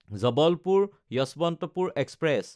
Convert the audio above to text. জবলপুৰ–যশৱন্তপুৰ express